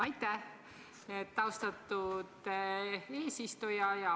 Aitäh, austatud eesistuja!